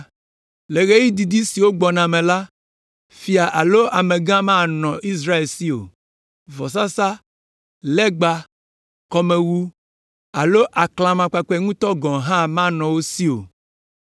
Le ɣeyiɣi didi siwo gbɔna me la, fia alo amegã manɔ Israel si o, vɔsasa, legba, kɔmewu alo aklamakpakpɛ ŋutɔ gɔ̃ hã manɔ wo si o!